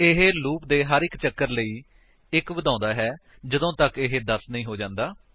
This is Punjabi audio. ਇਹ ਲੂਪ ਦੇ ਹਰ ਇੱਕ ਚੱਕਰ ਲਈ 1 ਵਧਾਉਂਦਾ ਹੈ ਜਦੋਂ ਤੱਕ ਇਹ 10 ਨਹੀਂ ਹੋ ਜਾਂਦਾ